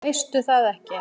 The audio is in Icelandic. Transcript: Veistu það ekki?